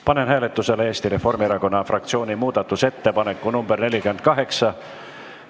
Panen hääletusele Eesti Reformierakonna fraktsiooni muudatusettepaneku nr 48.